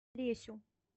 лесю